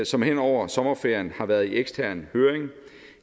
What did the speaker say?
som hen over sommerferien har været i ekstern høring